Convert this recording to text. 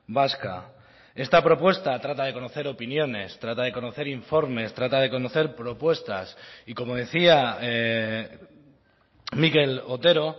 vasca esta propuesta trata de conocer opiniones trata de conocer informes trata de conocer propuestas y como decía mikel otero